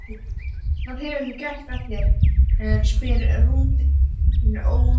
Hvað hefur þú gert af þér? spurði rumurinn ógnandi.